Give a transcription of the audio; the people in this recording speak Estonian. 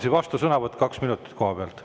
Siis vastusõnavõtt kaks minutit kohapealt.